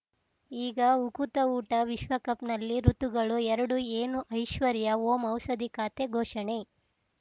ಈಗ ಉಕುತ ಊಟ ವಿಶ್ವಕಪ್‌ನಲ್ಲಿ ಋತುಗಳು ಎರಡು ಏನು ಐಶ್ವರ್ಯಾ ಓಂ ಔಷಧಿ ಖಾತೆ ಘೋಷಣೆ